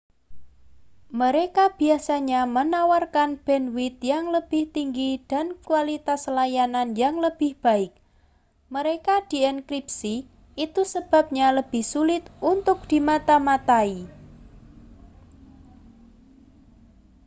mereka biasanya menawarkan bandwidth yang lebih tinggi dan kualitas layanan yang lebih baik mereka dienkripsi itu sebabnya lebih sulit untuk dimata-matai